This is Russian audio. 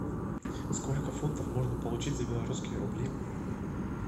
сколько фунтов можно получить за белорусские рубли